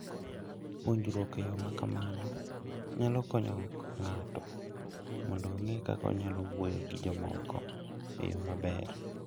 Puonjruok e yo ma kamano nyalo konyo ng'ato mondo ong'e kaka onyalo wuoyo gi jomoko e yo maber.